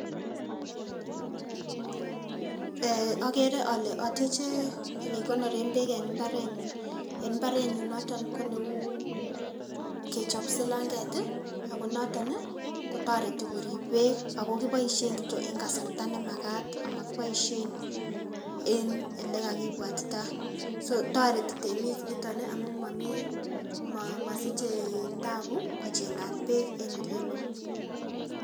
Okeree olee oteche olekikonoren beek en imbarenyun, en imbarenyun noton koneu kechob silanget akonoton kotoreti korib beek akokiboishen kityok en kasarta nemagat ako mokoboishen en elekakibwatita, toreti temik niton amun momi mosiche taabu kochengat beek en eleloo.